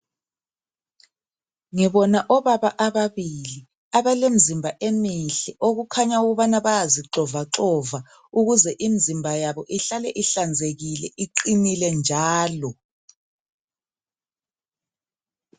Ngibona obaba ababili abalemizimba emihle okukhanya ukubana bayazi xova xova ukuze imizimba yabo ihlale ihlanzekile iqinile njalo.